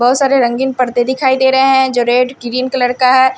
बहुत सारे रंगीन पर्दे दिखाई दे रहे हैं जो रेड ग्रीन कलर का है।